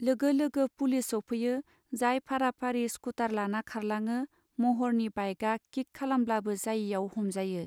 लोगो लोगो पुलिस सौफैयो जाय फारा फारि स्कुटार लाना खारलाङो महरनि बाइगा किक खालामब्लाबो जायैआव हमजायो.